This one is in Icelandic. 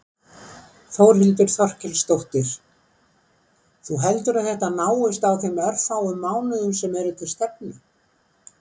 Þórhildur Þorkelsdóttir: Þú heldur að þetta náist á þeim örfáu mánuðum sem eru til stefnu?